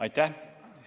Aitäh!